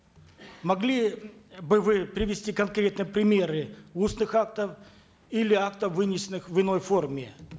могли бы вы привести конкретные примеры устных актов или актов вынесенных в иной форме